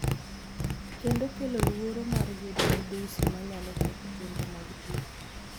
kendo kelo luoro mar yudo midhusi manyalo ketho chenro mag thieth